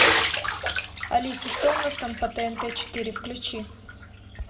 алиса что у нас там по тнт четыре включи